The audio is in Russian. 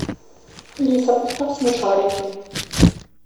алиса поставь смешарики